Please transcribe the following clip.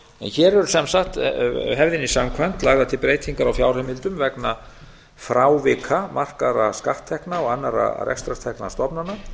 hér er sem sagt hefðinni samkvæmt lagðar til breytingar á fjárheimildum vegna frávika markaðra skatttekna og annarra rekstrartekna stofnana